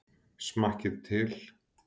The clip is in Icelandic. Smakkið til.